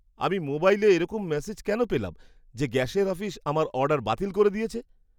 আমি মোবাইলে এরকম মেসেজ কেন পেলাম, যে গ্যাসের অফিস আমার অর্ডার বাতিল করে দিয়েছে!